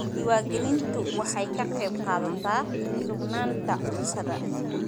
Diiwaangelintu waxay ka qaybqaadataa sugnaanta cuntada.